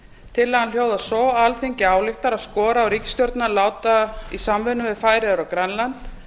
tillagan hljóðar svo alþingi ályktar að skora á ríkisstjórnina að láta í samvinnu við færeyjar og grænland